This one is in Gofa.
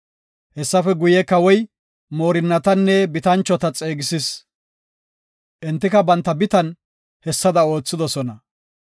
Hessafe guye, kawoy marotanne bitanchota xeegisis. Entika banta bitan hessada oothidosona.